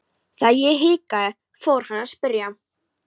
Þegar ég hikaði fór hann að spyrja.